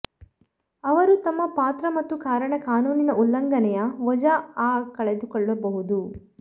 ಅವರು ತಮ್ಮ ಪಾತ್ರ ಮತ್ತು ಕಾರಣ ಕಾನೂನಿನ ಉಲ್ಲಂಘನೆಯ ವಜಾ ಆ ಕಳೆದುಕೊಳ್ಳಬಹುದು